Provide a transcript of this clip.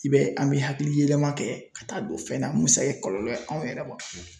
I be an be hakili yɛlɛma kɛ ka taa don fɛn na mun be se ka kɛ kɔlɔlɔ ye anw yɛrɛ ma